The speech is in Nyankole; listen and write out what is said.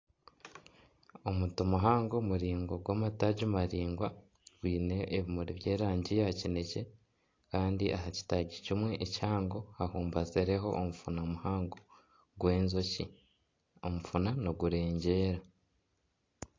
Omuti muhango muraingwa gw'amataagi maraingwa gwine ebimuri by'erangi ya kinekye kandi aha kitaagi kimwe kihango hambubatsireho omufuna muhango gw'enjoki omufuna nigureegyera.